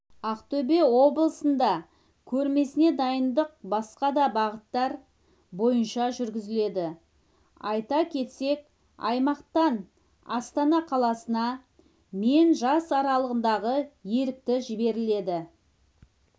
ақтөбе облысында көрмесіне дайындық басқа да бағыттар бойынша жүргізіледі айта кетсек аймақтан астана қаласына мен жас аралығындағы ерікті жіберіледі